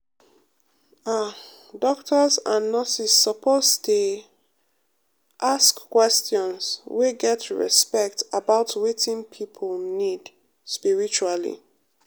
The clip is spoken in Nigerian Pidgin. ah doctors and nurses suppose dey um ask questions um wey get respect about wetin people need spiritually.